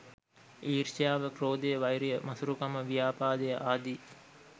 ඊර්ෂ්‍යාව, ක්‍රෝධය, වෛරය, මසුරුකම, ව්‍යාපාදය ආදී